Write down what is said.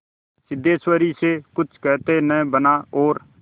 सिद्धेश्वरी से कुछ कहते न बना और